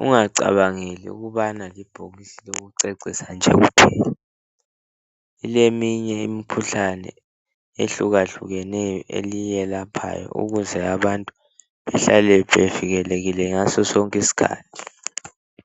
ungacabangeli ukubana libhokisi lokucecisa nje kuphela. Kuleminye imikhuhlane ehlukahlukeneyo eliyephayo, ukuze abantu behlale bevikelekile ngaso sonke iskhathi.